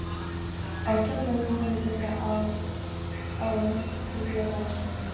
Á Keflavík möguleika á að stríða Valsmönnum?